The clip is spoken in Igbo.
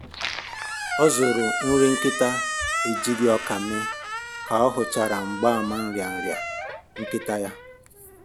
Ọ zụrụ nri nkịta ejighi ọkà mee ka ọ hụchara mgbaàmà nrịanrịa nkịta ya